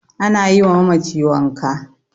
ana yiwa mamaci wanka